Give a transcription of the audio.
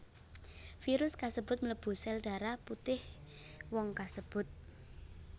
Virus kasebut mlebu sel darah putih wong kasebut